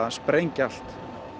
sprengja allt